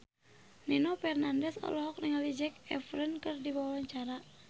Nino Fernandez olohok ningali Zac Efron keur diwawancara